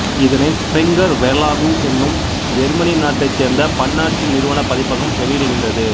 இதனை Springer Verlag என்னும் Germany நாட்டைச் சேர்ந்த பன்னாட்டு நிறுவனப் பதிப்பகம் வெளியிடுகின்றது